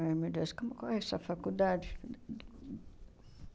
Ai, meu Deus, como qual é essa faculdade?